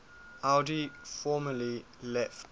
audi formally left